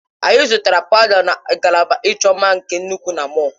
Anyị zụtara pawuda na ngalaba ịchọ mma nke nnukwu na mọll.